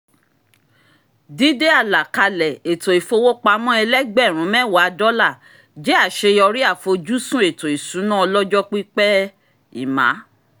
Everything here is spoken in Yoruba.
dídé àlàkalẹ̀ ètò ìfowópamọ́ ẹlẹ́gbẹ̀rún mẹ́wàá dọ́là jẹ́ àṣeyọrí àfojúsùn ètò ìṣúná ọlọ́jọ́ pípẹ́ ẹ́ emma